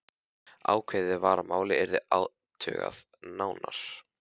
Ákveðið var að málið yrði athugað nánar.